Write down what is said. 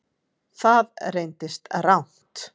Það reyndist rangt